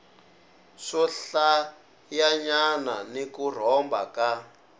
swohlayanyana ni ku rhomba ka